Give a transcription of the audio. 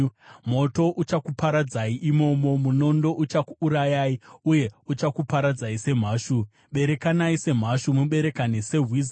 Moto uchakuparadzai imomo; munondo uchakuurayai, uye uchakuparadzai semhashu. Berekanai semhashu, muberekane sehwiza!